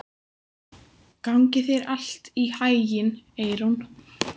Gangi þér allt í haginn, Eyrún.